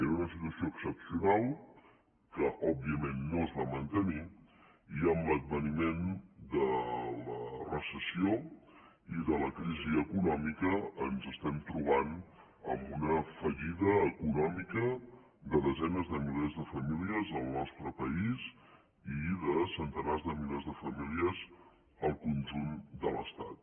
era una situació excepcional que òbviament no es va mantenir i amb l’adveniment de la recessió i de la crisi econòmica ens estem trobant amb una fallida econòmica de desenes de milers de famílies al nostre país i de centenars de milers de famílies al conjunt de l’estat